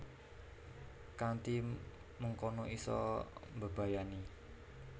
Kanthi mengkono isa mbebayani